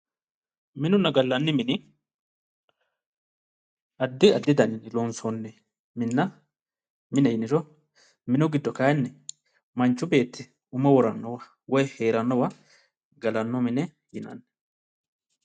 Minunna gallanni mini addi addi dannini loonsoni minna mineho yinniro minu giddo kayinni manchu beetti umo woranowa woyi heeranowa galano mine yinnnanni.